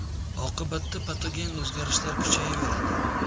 Oqibatda patogen o‘zgarishlar kuchayaveradi.